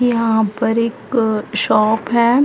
यहाँ पर एक शॉप है।